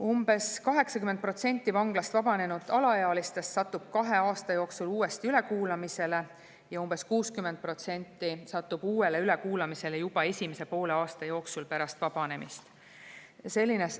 Umbes 80% vanglast vabanenud alaealistest satub kahe aasta jooksul uuesti ülekuulamisele ja umbes 60% satub uuele ülekuulamisele juba esimese poole aasta jooksul pärast vabanemist.